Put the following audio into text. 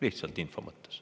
Lihtsalt info mõttes.